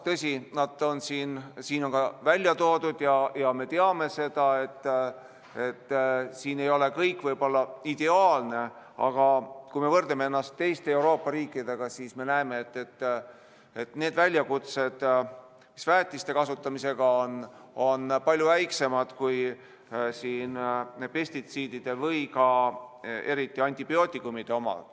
Tõsi, nad on siin ka välja toodud ja me teame seda, et siin ei ole kõik võib-olla ideaalne, aga kui me võrdleme ennast teiste Euroopa riikidega, siis me näeme, et need väljakutsed, mis väetiste kasutamisega on, on palju väiksemad kui pestitsiidide või eriti antibiootikumide puhul.